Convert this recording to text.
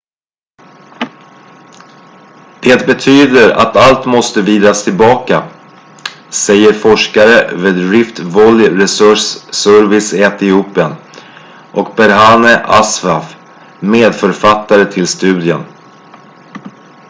"""det betyder att allt måste vridas tillbaka" säger forskare vid rift valley research service i etiopien och berhane asfaw medförfattare till studien.